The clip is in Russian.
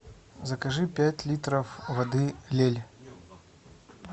закажи пять литров воды лель